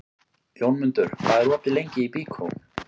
Jómundur, hvað er opið lengi í Byko?